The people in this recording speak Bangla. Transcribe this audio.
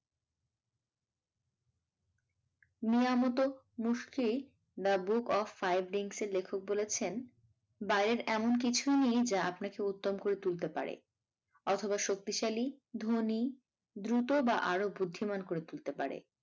Miyamoto Musashi the book of five rings এর লেখক বলেছেন বাইরের এমন কিছুই নেই যা আপনাকে উত্তম করে তুলতে পারে অথবা শক্তিশালী ধনী দ্রুত বা আরো বুদ্ধিমান করে তুলতে পারে।